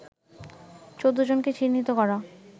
১৪ জনকে চিহ্নিত করা